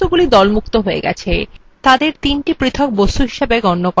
এখন বস্তুগুলি দলমুক্ত হয়ে গেছে তাদের তিনটি পৃথক বস্তু হিসাবে গণ্য করা হচ্ছে